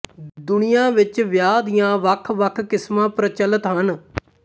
ਦੁਨੀਆ ਵਿੱਚ ਵਿਆਹ ਦੀਆਂ ਵੱਖਵੱਖ ਕਿਸਮਾਂ ਪ੍ਰਚੱਲਤ ਹਨ